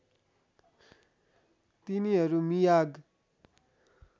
तिनीहरू मियाग